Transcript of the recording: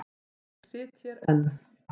Og ég sit hér enn.